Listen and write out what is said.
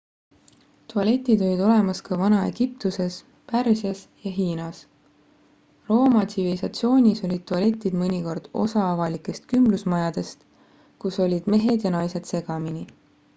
tualetid olid olemas ka vana-egiptuses pärsias ja hiinas rooma tsivilisatsioonis olid tualetid mõnikord osa avalikest kümblusmajadest kus olid mehed ja naised segamini